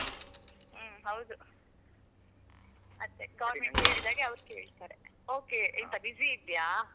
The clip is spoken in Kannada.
ಹ್ಮ್ ಹೌದು ಅದೆ government ಹೇಳಿದ ಹಾಗೆ ಅವ್ರ್ ಕೇಳ್ತಾರೆ. okay ಎಂತ busy ಇದ್ದೀಯ?